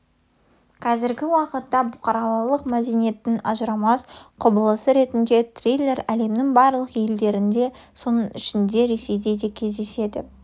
қазіргі уақытта бұқаралық мәдениеттің ажырамас құбылысы ретінде триллер әлемнің барлық елдерінде соның ішінде ресейде де кездеседі